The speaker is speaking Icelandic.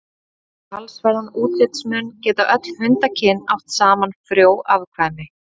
Þrátt fyrir talsverðan útlitsmun geta öll hundakyn átt saman frjó afkvæmi.